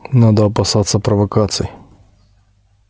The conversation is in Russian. надо опасаться провокаций